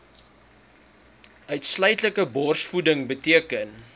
uitsluitlike borsvoeding beteken